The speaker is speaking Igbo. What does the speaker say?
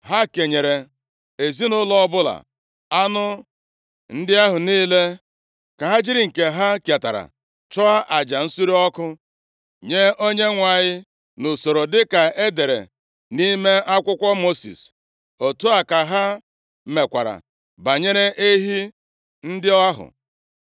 Ha kenyere ezinaụlọ ọbụla anụ ndị ahụ niile ka ha jiri nke ha ketara chụọ aja nsure ọkụ nye Onyenwe anyị nʼusoro dịka e dere nʼime akwụkwọ Mosis. Otu a ka ha mekwara banyere ehi ndị ahụ.